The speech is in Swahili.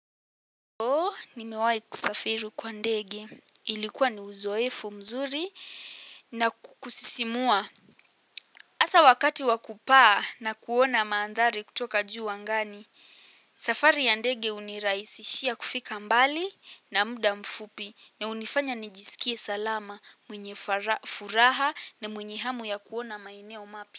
So, nimewahi kusafiri kwa ndege. Ilikuwa ni uzoefu mzuri na kusisimua. hAsa wakati wakupaa na kuona mandhari kutoka juu angani, safari ya ndege hunirahisishia kufika mbali na muda mfupi na hunifanya nijisikie salama, mwenye furaha na mwenyehamu ya kuona maeneo mapya.